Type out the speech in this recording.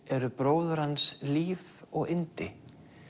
eru bróður hans líf og yndi